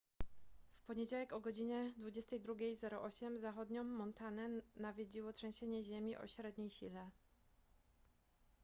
w poniedziałek o godz 22:08 zachodnią montanę nawiedziło trzęsienie ziemi o średniej sile